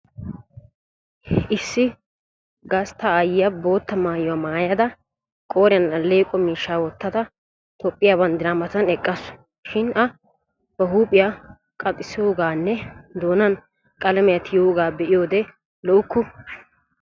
Issi gastta aayyiya bootta maayuwa maayada qooriyan alleeqo miishshaa wottada toophphiya banddiraa Matan eqqaasu. Shin a ba huuphiya qanxxissoogaanne doonan qalamiya tiyoogaa be'iyoode lo'ukku.